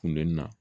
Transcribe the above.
Kundonni na